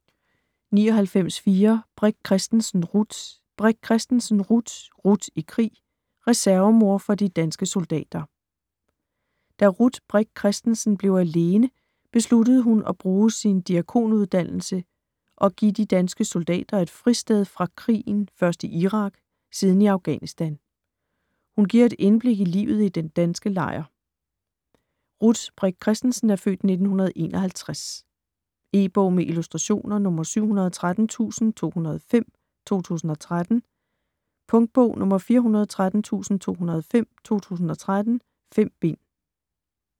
99.4 Brik Christensen, Ruth Brik Christensen, Ruth: Ruth i krig: reservemor for de danske soldater Da Ruth Brik Christensen (f. 1951) blev alene, besluttede hun at bruge sin diakonuddannelse og give de danske soldater et fristed fra krigen først i Irak siden i Afghanistan. Hun giver et indblik i livet i den danske lejr. E-bog med illustrationer 713205 2013. Punktbog 413205 2013. 5 bind.